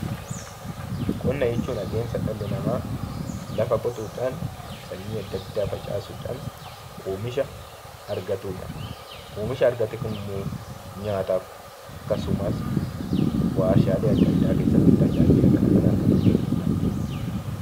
Qonna jechuun adeemsa dhalli namaa lafa qotuudhaan sanyii addaa addaa facaasuudhaan oomisha argatudha. Oomisha argate kana immoo nyaataaf akkasumas waarshaalee addaa addaa keessatti tajaajila addaa addaa kan kennudha.